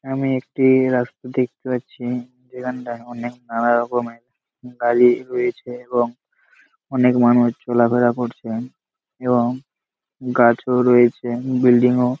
আমি একটি রাস্তা দেখতে পাচ্ছি যেখানটা অনেল নানারকমের গাড়ি রয়েছে এবং অনেক মানুষ চলাফেরা করছেন এবং গাছও রয়েছে বিল্ডিং ও--